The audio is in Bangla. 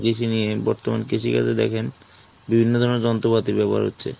কৃষি নিয়ে বর্তমান কৃষি কাজও দেখেন, বিভিন্ন ধরণের যন্ত্র পাতির ব্যাবহার হচ্ছে।